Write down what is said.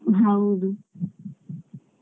ಹೌದು.